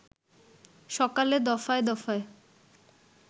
সকালে দফায় দফায়